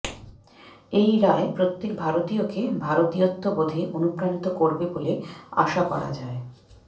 এই রায় প্ৰত্যেক ভারতীয়কে ভারতীয়ত্ববোধে অনুপ্ৰাণিত করবে বলে আশা করা যায়